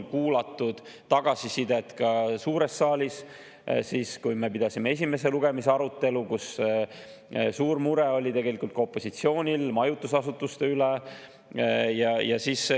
Kuulasime ka tagasisidet suures saalis, kui me pidasime esimese lugemise arutelu ja kui opositsioonil oli tegelikult suur mure majutusasutuste pärast.